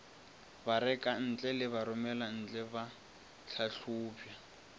barekantle le baromelantle ba hlahlobja